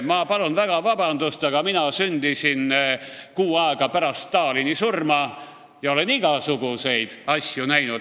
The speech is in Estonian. Ma palun väga vabandust, aga mina sündisin kuu aega pärast Stalini surma ja olen igasuguseid asju näinud.